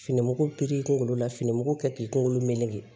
Fini mugu kunkolo la fini mugu kɛ k'i kunkolo meleke